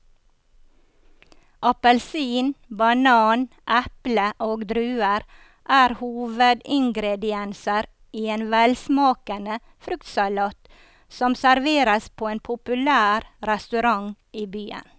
Appelsin, banan, eple og druer er hovedingredienser i en velsmakende fruktsalat som serveres på en populær restaurant i byen.